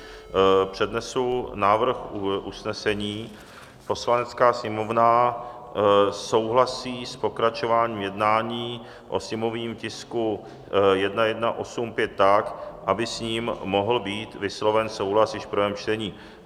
Přednesu návrh usnesení: "Poslanecká sněmovna souhlasí s pokračováním jednání o sněmovním tisku 1185 tak, aby s ním mohl být vysloven souhlas již v prvém čtení."